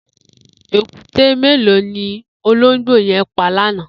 Ékùté méló ni ólóngbó yẹn pà lànã?